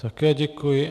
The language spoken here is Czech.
Také děkuji.